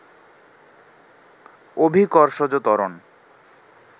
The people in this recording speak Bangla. অভিকর্ষজ ত্বরণ